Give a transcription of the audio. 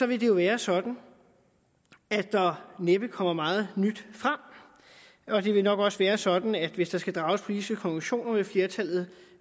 vil det være sådan at der næppe kommer meget nyt frem og det vil nok også være sådan at hvis der skal drages politiske konklusioner vil flertallet